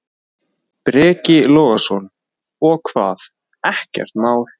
Breki Logason: Og hvað, ekkert mál?